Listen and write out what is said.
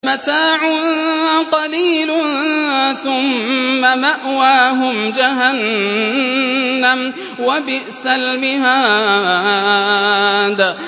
مَتَاعٌ قَلِيلٌ ثُمَّ مَأْوَاهُمْ جَهَنَّمُ ۚ وَبِئْسَ الْمِهَادُ